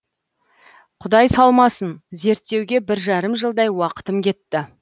құдай салмасын зерттеуге бір жарым жылдай уақытым кетті